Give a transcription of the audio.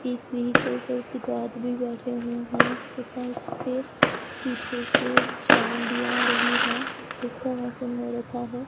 एक व्हीकल पर भी आदमी बैठे हुए हैं तथा इस पर पीछे से छांव भी आ रही है मौसम हो रखा है।